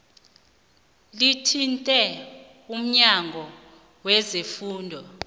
lithinte umnyango wezefundo